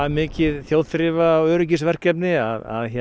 mikið þjóðþrifa og öryggisverkefni að